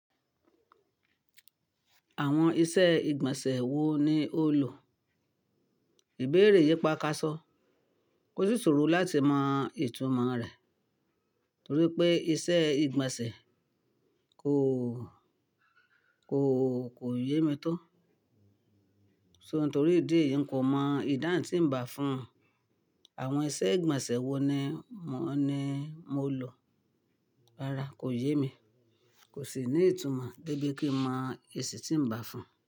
Àwọn iṣẹ́ ìgbọ̀nsẹ̀ wo ni ó lò? Ìbéèrè yìí pa ká só. O sì sòro láti mọ ìtumọ̀ rẹ̀ torí pé iṣẹ́ ìgbọ̀nsẹ̀ kò, kò, kò yé mi tó. So nítorí ìdí eyì n kò mọ ìdáhun ń bá fún àwọn iṣẹ́ ìgbọ̀nsẹ̀ wo ni mó ni mó lò. Rárá kò yé mi, kò sì ní ìtumọ̀ débi kí mọ èsì tí ń bá fún.